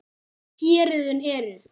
Héruðin eru